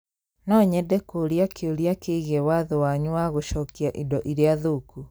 No nyende kũũria kĩũria kĩgiĩ watho wanyu wa gũcokia indo iria thũku